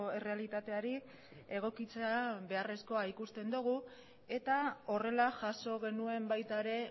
errealitateari egokitzea beharrezkoa ikusten dugu eta horrela jaso genuen baita ere